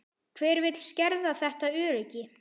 Hver vill skerða þetta öryggi?